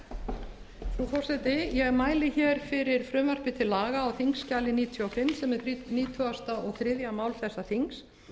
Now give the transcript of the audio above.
frú forseti ég mæli hér fyrir frumvarpi til laga á þingskjali níutíu og fimm sem er nítugasta og þriðja mál þessa þings